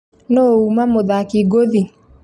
Nũ uuma mũthaki ngothi?